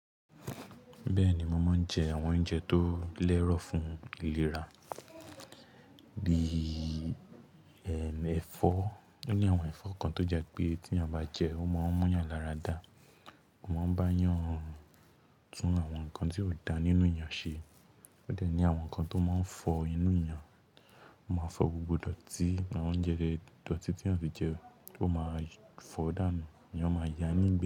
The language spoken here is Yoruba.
Bẹ́ẹ̀ni, mo máa ń jẹ àwọn oúnjẹ tó lẹ́rọ̀ fún ìlera bíi ẹ̀fọ́. Ó ní àwọn ẹ̀fọ́ kan tó jẹ́ pé tí a bá jẹ ẹ́, ó máa ń mú eeyàn lára da, ó máa ń bá yàn tún àwọn nǹkan tí ó da nínú yàn ṣe. Ó dẹ̀ ní àwọn nǹkan tó máa ń fọ inú ìyàn, ó máa fọ gbogbo dọ̀tí àwọn oúnjẹ, dọ̀tí tí àti jẹ ó máa fọ dànù, ìyàn máa yá ní.